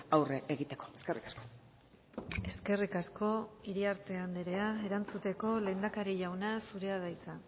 aurre egiteko eskerrik asko eskerrik asko iriarte anderea erantzuteko lehendakari jauna zurea da hitza